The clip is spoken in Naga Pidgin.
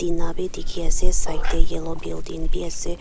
Na bhi dekhey ase side dae yellow building bhi ase.